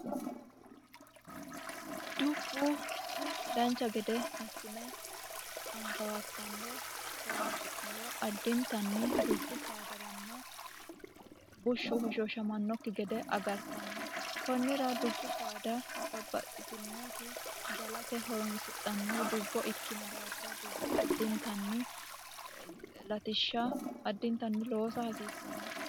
Dubbu dancha gede assine akabakabe horonsi'niro addittanni dubbu saadaranna bushu hoshoshamanokki gede agartano konnira dubbu saada babbaxitinoti galate horonsidhanohu dubbo ikkino daafira addittani latishsha loossa hasiisano.